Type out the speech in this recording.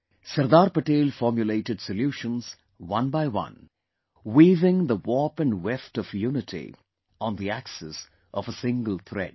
Sardar Patel formulated solutions one by one, weaving the warp & weft of unity on the axis of a single thread